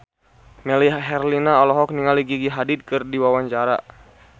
Melly Herlina olohok ningali Gigi Hadid keur diwawancara